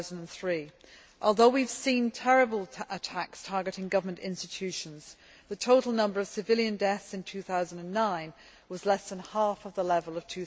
2003. Although we have seen terrible attacks targeting government institutions, the total number of civilian deaths in 2009 was less than half of the level of